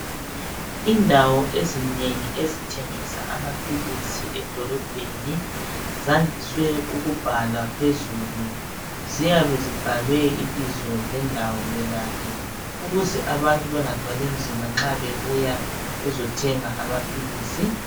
Indawo ezinengi ezithengisa amaphilisi edolobheni zandise ukubhalwa phezulu. Ziyabe zibhalwe ibizo lendawo yonale ukuze abantu bengathwalinzima nxa bezothenga amaphilisi.